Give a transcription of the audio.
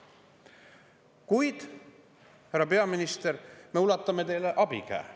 Kuid, härra peaminister, me ulatame teile abikäe.